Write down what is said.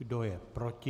Kdo je proti?